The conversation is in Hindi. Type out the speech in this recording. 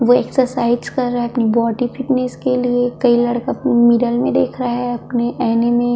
वो एक्सरसाइज कर रहै है अपनी बॉडी फिटनेस के लिए कई लड़का अपनी मिरर में देख रहै है अपने आईने में --